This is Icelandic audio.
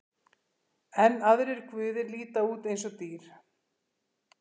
Enn aðrir guðir líta út eins og dýr.